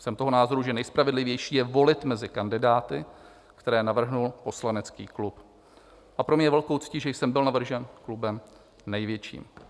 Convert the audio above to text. Jsem toho názoru, že nejspravedlivější je volit mezi kandidáty, které navrhl poslanecký klub, a pro mě je velkou ctí, že jsem byl navržen klubem největším.